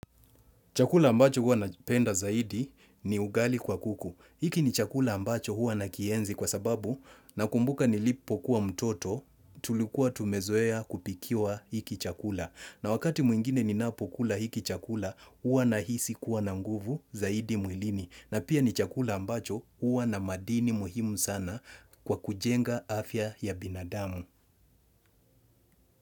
Chakula ambacho huwa na penda zaidi ni ugali kwa kuku. Hiki ni chakula ambacho huwa na kienzi kwa sababu na kumbuka nilipo kuwa mtoto tulikuwa tumezoea kupikiwa hiki chakula. Na wakati mwingine ni napokula hiki chakula huwa na hisi kuwa na nguvu zaidi mwilini. Na pia ni chakula ambacho huwa na madini muhimu sana kwa kujenga afya ya binadamu.